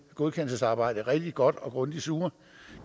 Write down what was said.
godkendelsesarbejde rigtig godt og grundigt sure